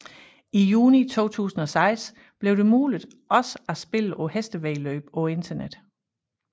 I juni 2006 blev det muligt også at spille på hestevæddeløb på internettet